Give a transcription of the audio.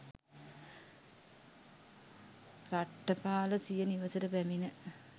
රට්ඨපාල සිය නිවසට පැමිණ